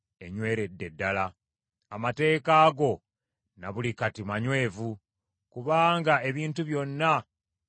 Amateeka go na buli kati manywevu; kubanga ebintu byonna bikuweereza.